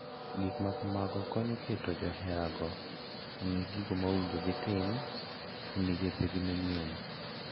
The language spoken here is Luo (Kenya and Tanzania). Gik ma kamago konyo e keto joherago ong'e gigo ma owinjo kitim e migepegi manyien .